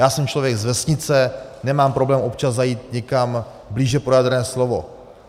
Já jsem člověk z vesnice, nemám problém občas zajít někam blíže pro jadrné slovo.